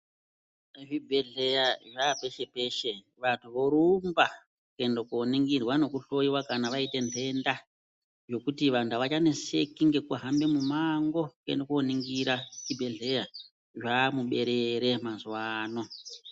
Zvibhedhleya zvapeshe peshe vantu vorumba kuenda koningirwa nekuhloyiwa kana vaite ntenda nekuti vantu avachaneseki ngekuhambe mumango kuende koningira chibhedhleya, zvamuberere mazuvano.